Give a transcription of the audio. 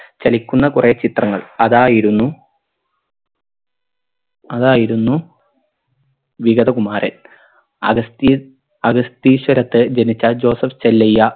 ചലിക്കുന്ന കൊറേ ചിത്രങ്ങൾ അതായിരുന്നു അതായിരുന്നു വിഗതകുമാരൻ അഗസ്തീ അഗസ്തീശ്വരത്ത് ജനിച്ചാൽ ജോസഫ് ചെല്ലയ്യ